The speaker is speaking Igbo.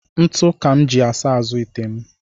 Ntụ ka m ji asa azụ ite m